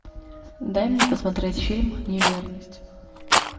дай мне посмотреть фильм неверность